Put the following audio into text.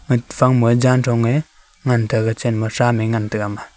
nag phai ma jan jon a ngan tega gachen ma a ngan tega ama.